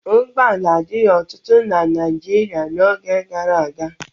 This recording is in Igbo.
Ụgbọala adịghị ọtụtụ na Naịjirịa n'oge gara aga.